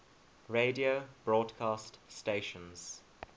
radio broadcast stations